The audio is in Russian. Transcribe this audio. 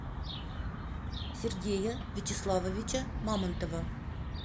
сергея вячеславовича мамонтова